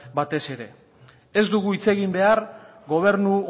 batez ere ez dugu hitz egin behar gobernu